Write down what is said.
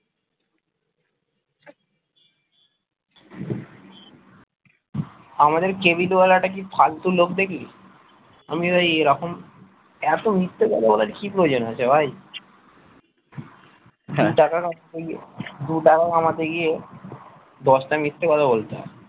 আমাদের cable ওয়ালাটা কি ফালতু লোক দেখলি আমি ঐরকম এত মিথ্যা কথা বলার কি প্রয়োজন আরে ভাই দু টাকা রাখতে গিয়ে দু টাকা কামাতে গিয়ে দশটা মিথ্যে কথা বলতে হয়।